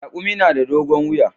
Raƙumi na da dogon wuya.